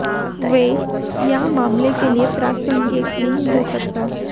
वे या मामले के लिए प्रासंगिक नहीं हो सकता